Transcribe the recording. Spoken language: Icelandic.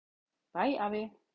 Bæ afi.